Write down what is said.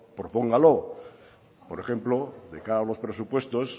propóngalo por ejemplo de cara a los presupuestos